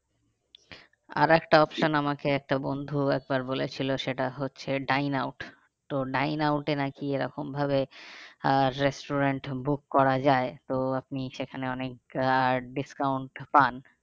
আর একটা option আমাকে একটা বন্ধু একবার বলেছিলো সেটা হচ্ছে ডাইনাউট তো ডাইনাউটএ নাকি এরকম ভাবে আহ restaurant book করা যায় তো আপনি সেখানে অনেক আহ discount পান।